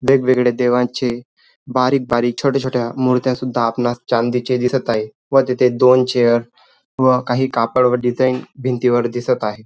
वेगवेगळे देवांचे बारीक बारीक छोट्या छोट्या मूर्ती सुद्धा आपणास चांदीच्या दिसत आहे व तिथे दोन चेअर व काही कापड डिझाईन भिंतीवर दिसत आहे.